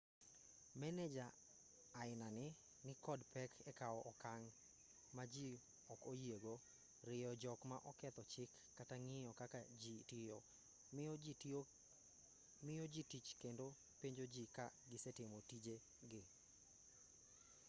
meneja ainani nikod pek ekaw okang' ma ji ok oyiego rieyo jok ma oketho chik kata ng'iyo kaka jii tiyo miyo ji tich kendo penjo ji ka gisetimo tije gi